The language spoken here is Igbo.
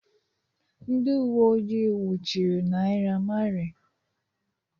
Ndị uwe ojii nwụchiri Naira Marley